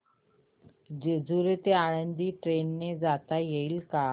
जेजूरी ते आळंदी ट्रेन ने जाता येईल का